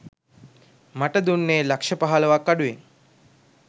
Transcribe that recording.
මට දුන්නේ ලක්‍ෂ පහළොවක්‌ අඩුවෙන්